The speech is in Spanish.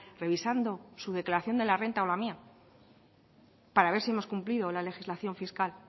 revisando su declaración de la renta o la mía para ver si hemos cumplido la legislación fiscal